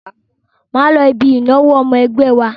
Máa lọ ibi ìnáwó ọmọ ẹgbẹ́ wa.